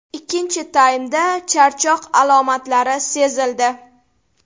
Ikkinchi taymda charchoq alomatlari sezildi.